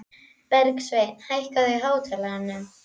Bergsveina, hækkaðu í hátalaranum.